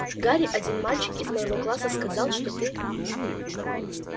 гарри один мальчик из моего класса сказал что ты